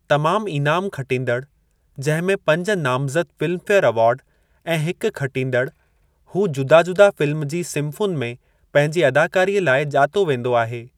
तमामु इनामु खटींदड़, जंहिं में पंज नामज़द फ़िल्म्फेयर अवार्ड ऐं हिकु खटींदड़, हू जुदा-जुदा फ़िल्म जी सिंफ़ुनि में पंहिंजी अदाकारीअ लाइ ॼातो वेंदो आहे।